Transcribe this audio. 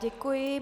Děkuji.